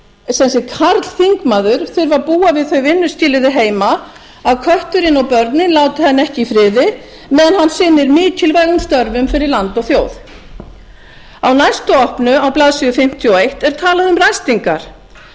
hug að karlþingmaður þurfi að búa við þau vinnuskilyrði heima að kötturinn og börnin láti hann ekki í friði meðan hann sinnir mikilvægum störfum fyrir land og þjóð á næstu opnu á blaðsíðu fimmtíu og eitt er talað um ræstingar